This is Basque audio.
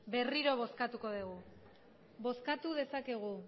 berriro bozkatuko dugu bozkatu dezakegu